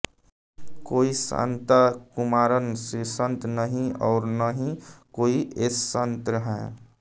कोई शान्ताकुमारन श्रीसंत नहीं और न ही कोई एस श्रीसंत है